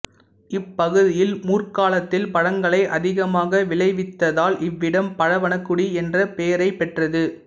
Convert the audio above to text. இப்பகுதியில் முற்காலத்தில் பழங்களை அதிகமாக விளைவித்ததால் இவ்விடம் பழவனக்குடி என்ற பெயரைப் பெற்றது